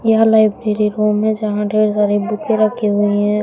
यह library room है जहां ढेर सारी बुके रखी हुई है।